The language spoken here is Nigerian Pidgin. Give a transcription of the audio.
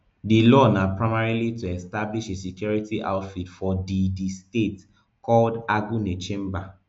di law na primarily to establish a security outfit for di di state called agunechemba